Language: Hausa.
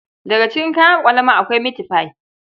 Daga cikin kayan ƙwalama akwai mitfai.